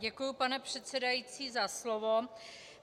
Děkuji, pane předsedající, za slovo.